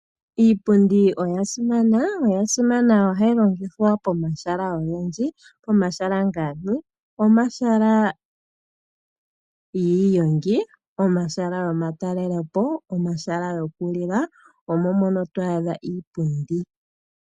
Iipundi oya simana oshoka ohayi longithwa pomahala ogendji. Pomahala ngaashi omahala giigongi, omahala goma talelepo, omahala goku lila omo to adha iipundi.